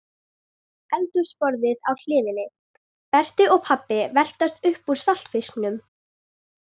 Eldhúsborðið á hliðinni, Berti og pabbi veltast upp úr saltfisknum